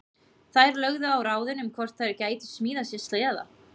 Þær lögðu á ráðin um hvort þær gætu smíðað sér sleða.